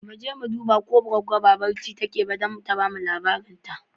Mu je mu duba ko Goggo ba barci take ba don ta ba mu labarin ta.